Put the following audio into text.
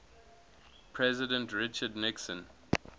president richard nixon